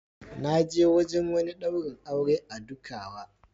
Na je wajen wani daurin aure a Dukawa.